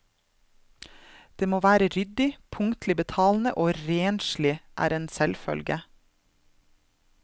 Det med å være ryddig, punktlig betalende og renslig er en selvfølge.